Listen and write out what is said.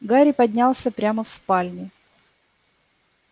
гарри поднялся прямо в спальню